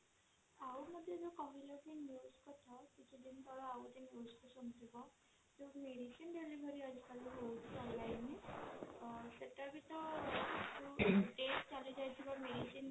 ଆଉ ଗୋଟେ ଯୋଊ କହିଲେ କି medicine delivery ହଉଛି online ରେ ସେଇଟା ବି ତ date ଚାଲି ଯାଇଥିବା medicine